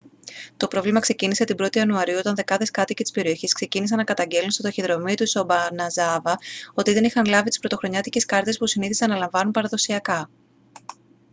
το πρόβλημα ξεκίνησε την 1η ιανουαρίου όταν δεκάδες κάτοικοι της περιοχής ξεκίνησαν να καταγγέλλουν στο ταχυδρομείο της ομπαναζάβα ότι δεν είχαν λάβει τις πρωτοχρονιάτικες κάρτες που συνήθιζαν να λαμβάνουν παραδοσιακά